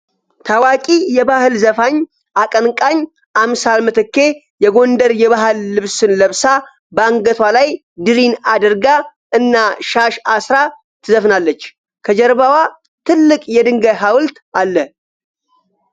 ታዋቂ የባህል ዘፋኝ አቀንቃኝ አምሳል ምትኬ የጎንደር የባህል ልብስን ለብሳ፣ በአንገቷ ላይ ድሪን አድርጋ እና ሻሽ አስራ ትዘፍናለች። ከጀርባዋ ትልቅ የድንጋይ ሃውልት አለ።